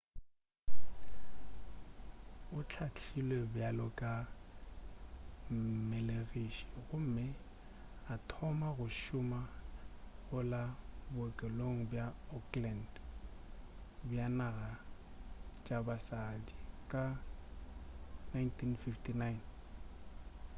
o hlahlilwe bjalo ka mmelegiši gomme a thoma go šoma go la bookelo bja auckland bja naga bja basadi ka 1959